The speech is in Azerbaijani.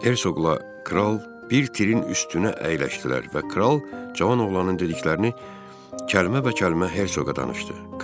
Hertsogla kral bir tirin üstünə əyləşdilər və kral cavan oğlanın dediklərini kəlmə-bə-kəlmə Hertsoga danışdı.